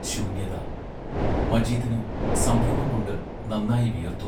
ശൂന്യത മജീദിന് സംഭ്രമം കൊണ്ട് നന്നായി വിയർത്തു.